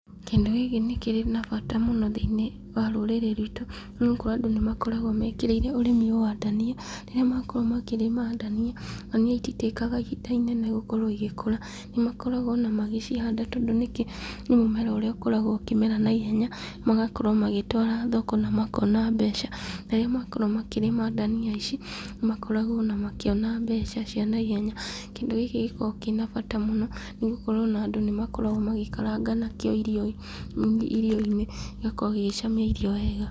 Kĩndũ gĩkĩ nĩkĩrĩ na bata mũno thĩinĩ wa rũrĩrĩ ruitũ, nĩgũkorwo andũ nĩmakoragwo mekĩrĩire ũrĩmi ũyũ wa ndania. Rĩrĩa makorwo makĩrĩma ndania, ndania ititĩkaga ihinda inene gũkorwo igĩkũra, nĩmakoragwo ona magĩcihanda tondũ nĩ mũmera ũrĩa ũkoragwo ũkĩmera naihenya, magakorwo magĩtwara thoko na makona mbeca. Rĩrĩa makorwo makĩrĩma ndania ici, nĩmakoragwo ona makĩona mbeca cia naihenya. Kĩndũ gĩkĩ gĩkoragwo kĩna bata mũno, nĩgũkorwo ona andũ nĩmakoragwo magĩkaranga nakĩo irio, irio-inĩ gĩgakorwo gĩgĩcamia irio wega.